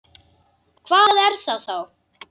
Hvað er það þá?